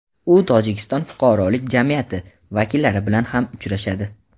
u Tojikiston fuqarolik jamiyati vakillari bilan ham uchrashadi.